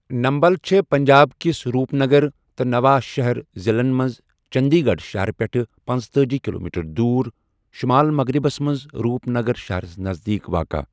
Nimble چھےٚ پنٛجاب کِس Rupnagar تہٕ نَوا شہر ضِلعن منٛز چٔنٛدی گَڑھ شہر پیٚٹھٕ پنژتأجی کِلومیٖٹر دوُر شُمال مغرِبس منٛز روٗپ نَگر شہرس نزدیٖک واقع۔